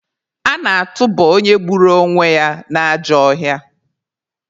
A na-atụba onye gburu onwe ya n'ajọ ọhịa.